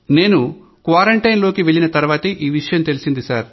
నేను క్వారంటైన్ లోకి వెళ్లిన తర్వాతే ఈ విషయం తెలిసింది